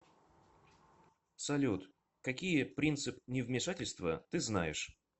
салют какие принцип невмешательства ты знаешь